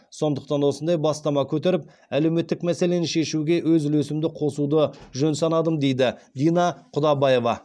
сондықтан осындай бастама көтеріп әлеуметтік мәселені шешуге өз үлесімді қосуды жөн санадым дейді дина құдабаева